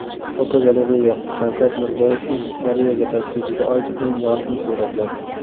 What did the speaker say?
Fotogalereya: Shavkat Mirziyoyevning Koreyaga tashrifiga oid eng yorqin suratlar.